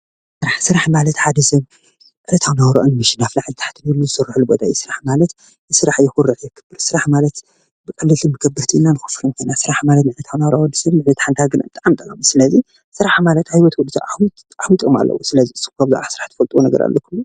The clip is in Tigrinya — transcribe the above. ስራሕ ስራሕ ማለት ሓደ ሰብ ዕለታዊ ናበራ ንምሽናፍ ላዕልን ታሕትን ኢሉ ዝሰርሓሉ ቦታ እዩ፡፡ ስራሕ ማለት የኩርዕ፣ የክብር ስራሕ ማለት ብቀለልትን ከበድትን ኢልና ንከፍሎ ስራሕ ማለት ንዕለታዊ ናበራ ወዲሰብ ንዕቤት ሓንቲ ሃገር ብጣዕሚ ጠቃሚ ስለዚ ስራሕ ማለት ዓቢይ ጥቅሚ አለዎ:: ስለዚ ንስኩም ከ ብዛዕባ ስራሕ ትፈልጥዎ ኣለኩም ድዩ ?